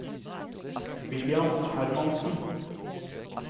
William Hermansen